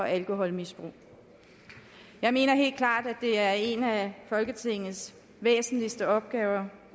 og alkoholmisbrug jeg mener helt klart at det er en af folketingets væsentligste opgaver